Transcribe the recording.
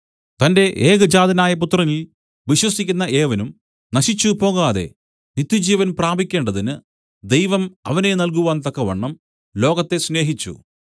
തന്റെ ഏകജാതനായ പുത്രനിൽ വിശ്വസിക്കുന്ന ഏവനും നശിച്ചുപോകാതെ നിത്യജീവൻ പ്രാപിക്കേണ്ടതിന് ദൈവം അവനെ നല്കുവാൻ തക്കവണ്ണം ലോകത്തെ സ്നേഹിച്ചു